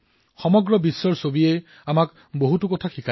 বিশ্বৰ অভিজ্ঞতাই আমাক বহু কথা শিকাইছে